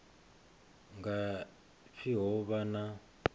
nga pfi ho vha na